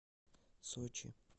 сочи